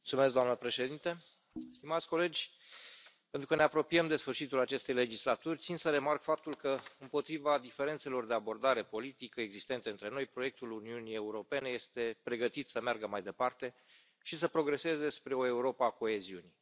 Doamnă președintă, stimați colegi, pentru că ne apropiem de sfârșitul acestei legislaturi, țin să remarc faptul că, împotriva diferențelor de abordare politică existente între noi, proiectul Uniunii Europene este pregătit să meargă mai departe și să progreseze spre o Europă a coeziunii.